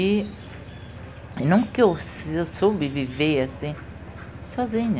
E nunca eu eu soube viver assim sozinha.